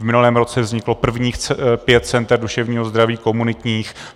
V minulém roce vzniklo prvních pět center duševního zdraví komunitních.